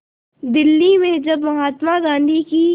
दिल्ली में जब महात्मा गांधी की